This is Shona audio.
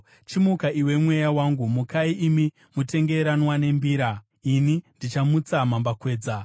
Chimuka iwe mweya wangu! Mukai imi mutengeranwa nembira! Ini ndichamutsa mambakwedza.